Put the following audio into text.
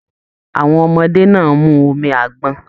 Àwọn ọmọdé náà mú omi àgbọn.